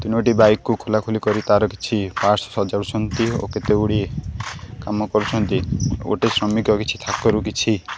ତିନୋଟି ବାଇକ୍ କୁ ଖୋଲାଖୋଲି କରି ତାର କିଛି ପାର୍ଟସ୍ ସଜାଡୁଛନ୍ତି ଓ କେତେଗୁଡ଼ିଏ କାମ କରୁଛନ୍ତି ଗୋଟେ ଶ୍ରମିକ କିଛି ଥାକରୁ କିଛି--